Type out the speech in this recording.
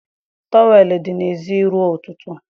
Towel m dị n'èzí ruo ụtụtụ.